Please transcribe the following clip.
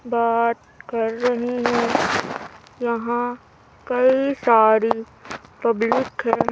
बात कर रहे हैं यहां कई सारी पब्लिक है।